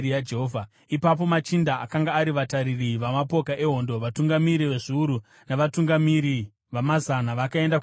Ipapo machinda akanga ari vatariri vamapoka ehondo, vatungamiri vezviuru navatungamiri vamazana vakaenda kuna Mozisi